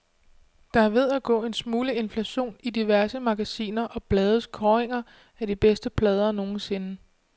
Der er ved at gå en smule inflation i diverse magasiner og blades kåringer af de bedste plader nogensinde.